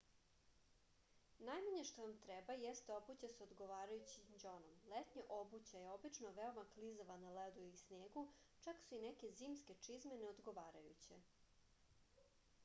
najmanje što vam treba jeste obuća sa odgovarajućim đonom letnja obuća je obično veoma klizava na ledu i snegu čak su i neke zimske čizme neodgovarajuće